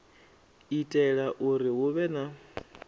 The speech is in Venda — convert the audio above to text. itela uri hu vhe na